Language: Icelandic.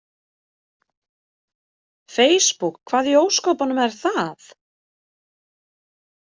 Feisbúk, hvað í ósköpunum er það?